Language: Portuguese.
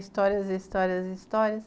Histórias e histórias e histórias.